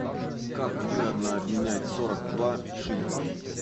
как выгодно обменять сорок два шиллинг